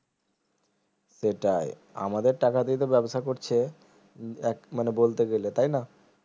সেটাই আমাদের টাকাতেই ব্যবসা করছে উম এক মানে বলতে গেলে তাইনা